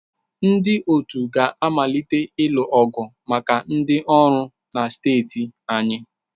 Ndị otu ga-amalite ịlụ ọgụ maka ndị ọrụ na steeti anyị.